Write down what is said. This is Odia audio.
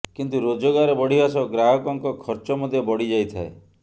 କିନ୍ତୁ ରୋଜଗାର ବଢ଼ିବା ସହ ଗ୍ରାହକଙ୍କ ଖର୍ଚ୍ଚ ମଧ୍ୟ ବଢ଼ିଯାଇଥାଏ